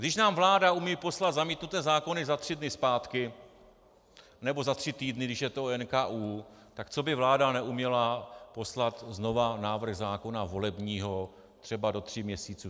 Když nám vláda umí poslat zamítnuté zákony za tři dny zpátky, nebo za tří týdny, když je to o NKÚ, tak co by vláda neuměla poslat znova návrh zákona volebního třeba do tří měsíců?